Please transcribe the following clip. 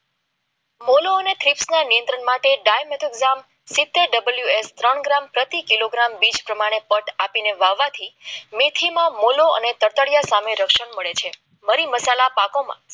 બોલો અને થેશ કો નિયંત્રણ માટે ડાય મેટોરીયલ સિતેર પ્રતિ કિલોગ્રામ પ્રમાણે પટ આપીને વાવવાથી મીઠી મામલો અને તતળિયા સામે મળે છે મરી મસાલા પાકોમાં